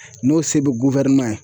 N'o se bɛ ye